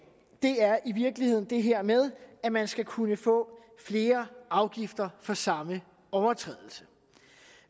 er i virkeligheden det her med at man skal kunne få flere afgifter for samme overtrædelse